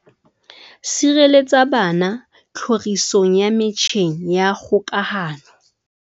Sireletsa bana tlhorisong ya metjheng ya kgokahano